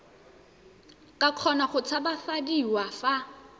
ka kgona go tshabafadiwa fa